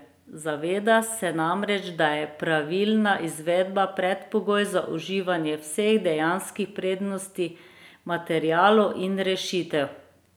Zaveda se namreč, da je pravilna izvedba predpogoj za uživanje vseh dejanskih prednosti materialov in rešitev.